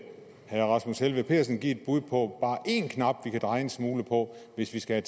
rasmus helveg petersen i give et bud på bare én knap vi kan dreje en smule på hvis vi skal